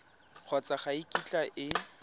kgotsa ga e kitla e